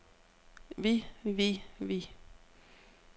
vi vi vi